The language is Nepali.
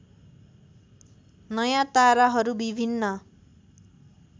नयाँ ताराहरू विभिन्न